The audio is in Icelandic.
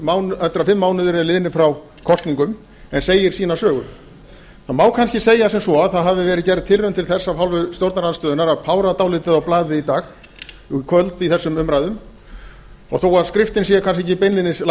mánuðir eru liðnir frá kosningum en segir sína sögu það má kannski segja sem svo að það hafi verið gerð tilraun til þess af hálfu stjórnarandstöðunnar að pára dálítið á blaðið í kvöld í þessum umræðum og þó að skriftin sé kannski ekki beinlínis